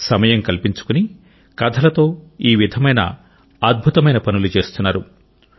సమయం కల్పించుకుని కథలతో ఈ విధమైన అద్భుతమైన పనులు చేస్తున్నారు